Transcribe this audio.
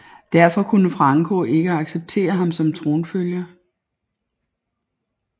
Derfor kunne Franco ikke accepterede ham som tronfølger